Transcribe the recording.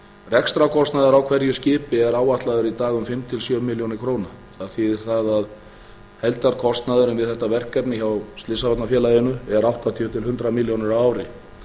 rekstrarkostnaður á hverju skipi er áætlaður í dag um fimm til sjö milljónir króna það þýðir það að heildarkostnaðurinn við þetta verkefni hjá slysavarnafélaginu er áttatíu til hundrað milljónir á ári